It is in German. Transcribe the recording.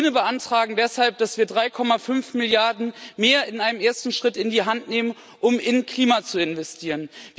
Wir Grüne beantragen deshalb, dass wir 3,5 Milliarden mehr in einem ersten Schritt in die Hand nehmen, um in Klima zu investieren.